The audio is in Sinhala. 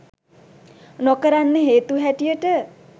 නොකරන්න හේතු හැටියට